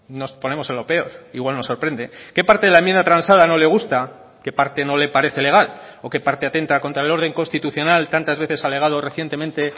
nos ponemos en lo peor igual nos sorprende qué parte de la enmienda transada no le gusta qué parte no le parece legal o qué parte atenta contra el orden constitucional tantas veces alegado recientemente